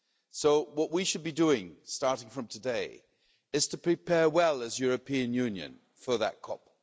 So what we should be doing, starting from today, is to prepare well, as the European Union, for that COP.